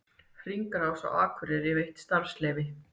Hringrás á Akureyri veitt starfsleyfi